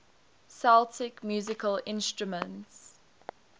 celtic musical instruments